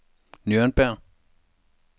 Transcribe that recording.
Nürnberg